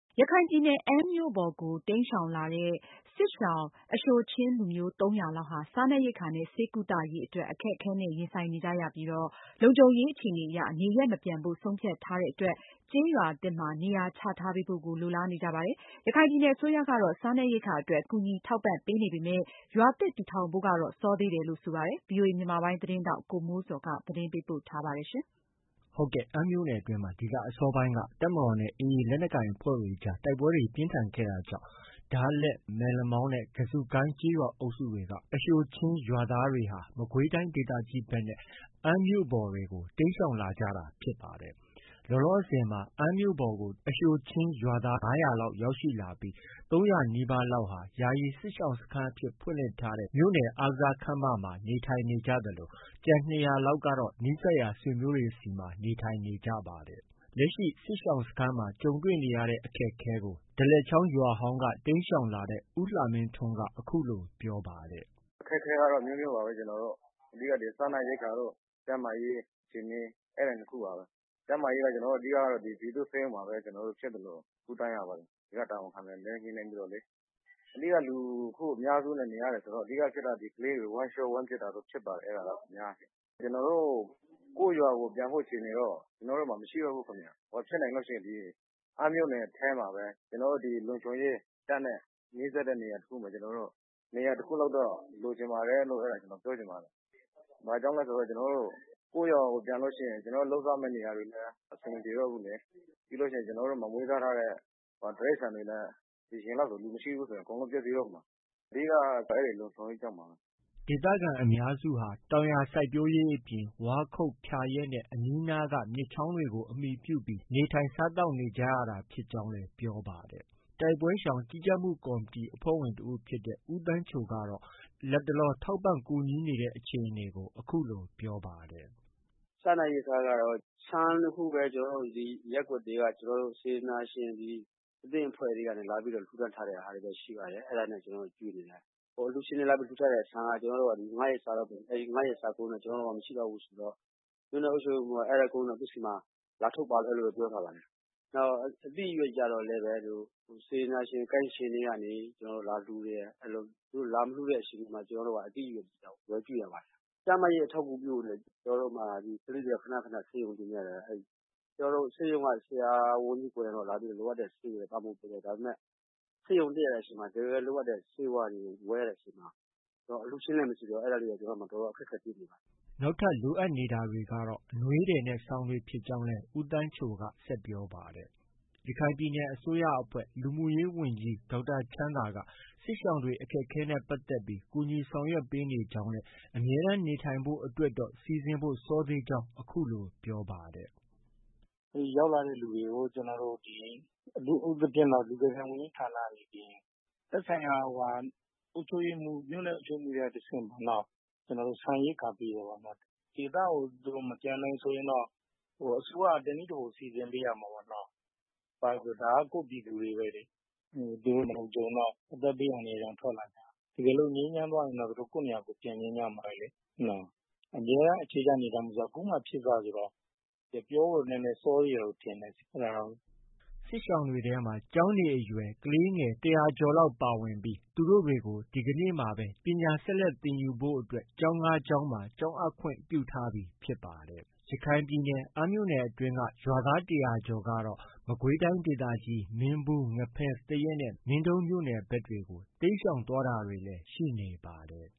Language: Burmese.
ရခိုင်ပြည်နယ် အမ်းမြို့ပေါ်ကို တိမ်းရှောင်လာတဲ့ စစ်ရှောင် အရှိုချင်းလူမျိုး ၃၀၀ လောက်ဟာ စားနပ်ရိက္ခာနဲ့ ဆေးကုသရေးအတွက် အခက်အခဲနဲ့ ရင်ဆိုင်နေကြရပြီး လုံခြုံရေး အခြေအနေအရ နေရပ်မပြန်ဖို့ ဆုံးဖြတ်ထားတဲ့အတွက် ကျေးရွာသစ်မှာ နေရာချထားပေးဖို့ကို လိုလားနေကြပါတယ်။ ရခိုင်ပြည်နယ် အစိုးရကတော့ စားနပ်ရိက္ခာအတွက် ကူညီထောက်ပံ့ပေမဲ့ ရွာသစ်တည်ထောင်ပေးဖို့ အတွက်ကတော့ စောသေးတယ်လို့ ဆိုပါတယ်။ ဒီသတင်းကိုတော့ ဗွီအိုအေ မြန်မာပိုင်းရဲ့သတင်းထောက် ကိုမိုးဇော်က တင်ပြထားပါတယ်။ အမ်းမြို့နယ်အတွင်းမှာ ဒီလ အစောပိုင်းတည်းက တပ်မတော်နဲ့ AA ရခိုင်လက်နက်ကိုင်တွေအကြား တိုက်ပွဲတွေ ပြင်းထန်ခဲ့တာကြောင့် ဒါးလက်၊ မက်လမောင်းနဲ့ ကဇုကိုင်း ကျေးရွာအုပ်စုက အရှိုချင်း ရွာသားတွေဟာ မကွေးတိုင်း ဒေသကြီးဘက်နဲ့ အမ်းမြို့ပေါ်တွေကို တိမ်းရှောင်လာကြတာဖြစ်ပါတယ်။ လောလောဆည်မှာ အမ်းမြို့ပေါ်ကို အရှိုချင်း ရွာသား ၅၀၀ နီးပါးလောက်ရောက်ရှိနေပြီး ၃၀၀နီးပါးလောက်ဟာ ယာယီစစ်ရှောင်စခန်းအဖြစ် ဖွင့်လှစ်ထား မြို့နယ်အားကစားခန်းမမှာ နေထိုင်နေကြသလို ကျန် ၂၀၀လောက်ကတော့ နီးစပ်ရာ ဆွေမျိုးတွေထံမှာ နေထိုင်နေကြတာပါ။ လက်ရှိ စစ်ရှောင်စခန်းမှာ တွေ့ကြုံနေရတဲ့ အခက်အခဲကို ဒါးလက်ချောင်းရွာဟောင်းက တိမ်းရှောင်လာတဲ့ ဦးလှမင်းထွန်းက အခုလို ပြောပါတယ်။ အခက်အခဲကတော့ အမျိုးမျိုးပါပဲ။ အဓိက ကတော့ စားနပ်ရိက္ခာနဲ့ ကျန်းမာရေး အခြေအနေ အဲဒီ ၂ ခုပါပဲ။ ကျန်းမာရေးကတော့ ဒီက ပြည်သူ့ဆေးရုံမှာပဲ ဖြစ်သလို ကုသရပါတယ်။ ဒီက တာဝန်ခံနဲ့ညှိနှိုင်းပြီးတော့လေ။ အဓိက လူအများစုနဲ့ နေရတယ်ဆိုတော့ ကလေးတွေ ဝမ်းလျော ဝမ်းပျက်ဖြစ်ပါတယ် အများအားဖြင့်။ ကျနော်တို့ ကိုယ့်ရွာကိုယ် ပြန်ဖို့အခြေအနေတော့ မရှိတော့ဘူးခင်ဗျ။ ဖြစ်နိုင်လို့ရှိရင် အမ်းမြို့နယ်ထဲမှာပဲ ကျနော်တို့ လုံခြုံရေး တပ်နဲ့ နီးစပ်တဲ့နေရာတစ်ခုမှာ ကျနော်တို့ နေရာတစ်ခုလောက်လိုချင်ပါတယ်လို့ ပြောချင်ပါတယ်။ ဘာဖြစ်လို့လဲဆို ကျနော်တို့ ကိုယ့်ရွာကို ပြန်လို့ ရှိရင် လုပ်စားရမယ့် နေရာတွေလည်း အဆင်မပြေတော့ဘူးလေ။ ပြီးရင် ကျနော်တို့မှာ မွေးစားထားတဲ့ တိရိစ္ဆာန်တွေလည်း ဒီအချိန်လောက်ဆို လူမရှိဘူးဆို အကုန် ပျက်စီးတော့မှာ။ အဓိကက အဲဒီလုံခြုံရေးကြောင့်ပါပဲ။ ဒေသခံအများစုဟာ တောင်ယာစိုက်ပျိုးရေး အပြင် ဝါးခုတ်၊ ဖျာရက်နဲ့ အနီးအနားက မြစ်ချောင်းတွေကို အမှီပြု နေထိုင်စားသောက် နေကြရတာဖြစ်ကြောင်း ပြောပါတယ်။ တိုက်ပွဲရှောင် ကြီးကြပ်မှု ကော်မတီ အဖွဲ့ဝင်တစ်ဦးဖြစ်တဲ့ ဦးသန်းချိုက လတ်တလော ကူညီထောက်ပံ့နေတဲ့ အခြေအနေကို အခုလို ပြောပါတယ်။ စားနပ်ရိက္ခာကတော့ ဆန်တစ်ခုပဲ ရပ်ကွက်တွေက စေတနာရှင် အသင်းအဖွဲ့တွေက လာပြီး လှူဒါန်း ထားတာပဲ ရှိပါတယ်။ ကျနော်တို့ အဲဒါနဲ့ ကျွေးနေတာ။ အ လှူရှင်တွေ လာ လှူထားတဲ့ဆန်က ၅ရက်စာပဲ။ ၅ရက်စာကုန်ရင်တော့ ကျနော်တို့မှာ မရှိတော့ဘူးဆိုတော့ မြို့နယ်အုပ်ချုပ်ရေးမှုးက အဲဒါ ကုန်ရင်တော့ သူ့ဆီမှာ လာထုတ်ပါလို့တော့ ပြောထားပါတယ်။ နောက် အသီးအရွက်ကျတော့လည်း စေတနာရှင် ကိုင်းရှင်တွေကနေ သူတို့ လာလှုတယ်။ သူတို့ လာမလှုတဲ့အချိန်ကျရင် ကျနော်တို့ အသီးအရွက်တွေ ဝယ်ကျွေးရပါတယ်။ ကျန်းမာရေးအထောက်အကူပြုမှာ ကလေးတွေက ခန ခန ဆေးရုံတင်ရပါတယ်။ ဆေးရုံက ဆရာဝန်ကြီးကိုယ်တိုင်ကလာပြီးတော့ လိုအပ်တဲ့ ဆေးတွေတော့ ပံ့ပိုးပေးတယ်။ ဒါပေမဲ့ ဆေးရုံတက်တဲ့အချိန်မှာ တစ်ကယ်လိုအပ်တဲ့ ဆေးဝါးတွေကို ဝယ်ရတဲ့အချိန်မှာ အလှုရှင်လည်း မရှိတော့ အဲဒါတွေက ကျနော်တို့မှာ တော်တော် အခက်အခဲ တွေ့ပါတယ်။ နောက်ထပ်လိုအပ်တာကတော့ အနွေးထည်နဲ့ စောင်တွေ ဖြစ်ကြောင်း ဦးသန်းချိုက ဆက်ပြောပါတယ်။ ရခိုင်ပြည်နယ်အစိုးရအဖွဲ့ လူမှုရေးဝန်ကြီး ဒေါက်တာချမ်းသာက စစ်ရှောင်တွေအခက်အခဲနဲ့ ပတ်သက်ပြီး ကူညီဆောင်ရွက်ပေးနေကြောင်း၊ အမြဲတမ်းနေထိုင်ဖို့ အတွက်တော့ စီစဉ်ဖို့ စောသေးကြောင်း အခုလို ပြောပါတယ်။ ရောက်လာတဲ့ သူတွေကို ကျနော်တို့ ဒီ အထူးသဖြင့် လူကယ်ပြန် ဝန်ကြီးဌာနက နေပြီးရင် သက်ဆိုင်ရာ မြို့နယ် အုပ်ချုပ်ရေးမှူး တွေက တဆင့် ကျနော်တို့ ဆန်ရိက္ခာပေးတယ်။ ဒေသကို မပြန်နိုင်ဆိုရင်တော့ အစိုးရက တစ်နည်းတစ်ဖုံစီစဉ်ပေးရမှာပေါ့။ ဒါက ကိုယ့်ပြည်သူတွေပဲလေ။ သူတို့ မလုံခြုံတော့ အသက်ဘေး အန္တရာယ်ကြောင့် ထွက်လာတာ။ တစ်ကယ်လို့ ငြိမ်းချမ်းသွားရင်တော့ သူတို့ ကိုယ့်နေရာကိုယ် ပြန်ချင်ကြမှာပဲလေ နော။ အမြဲတမ်းအခြေချ နေထိုင်ဖို့ ဆိုတာ ခုမှ ဖြစ်စဆိုတော့ ပြောဖို့ နည်းနည်း စောသေးတယ်လို့ထင်တယ်။ အဲဒါတော့ စစ်ရှောင်တွေထဲမှာ ကျောင်းနေအရွယ် ကလေးငယ် ၁၀၀ကျော်လောက် ပါဝင်နေပြီး သူတို့တွေကို ဒီကနေ့မှာပဲ ပညာဆက်လက်သင်ယူဖို့ ကျောင်း ၅ကျောင်းမှာ ကျောင်းအပ်ခွင့် ပြုထားပြီဖြစ်ပါတယ်။ ရခိုင်ပြည်နယ်အမ်းမြို့နယ်အတွင်းက ရွာသား ၁၀၀ကျော်ကတော့ မကွေးတိုင်းဒေသကြီး မင်းဘူး၊ ငဖဲ၊ သရက်နဲ့ မင်းတုံးမြို့နယ်ဘက်တွေကို တိမ်းရှောင်တာတွေလည်း ရှိနေပါတယ်